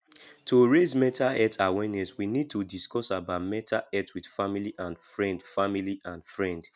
to raise mental health awareness we need to discuss about mental health with family and friend family and friend